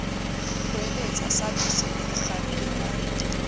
hweletsa sabese se ikgarile ka